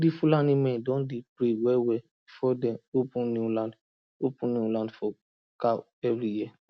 di fulani men dem dey pray wellwell before dem open new land open new land for cow every year